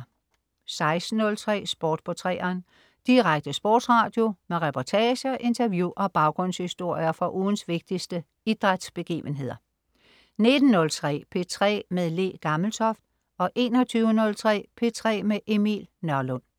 16.03 Sport på 3'eren. Direkte sportsradio med reportager, interview og baggrundshistorier fra ugens vigtigste idrætsbegivenheder 19.03 P3 med Le Gammeltoft 21.03 P3 med Emil Nørlund